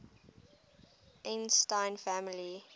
einstein family